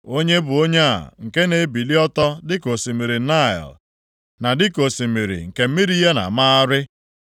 “Onye bụ onye a, nke na-ebili + 46:7 Maọbụ, na-eruju ọtọ dịka osimiri Naịl, na dịka osimiri nke mmiri ya na-amagharị?